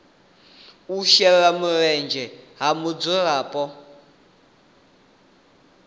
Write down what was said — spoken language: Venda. u shela mulenzhe ha mudzulapo